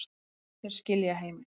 Þeir skilja heiminn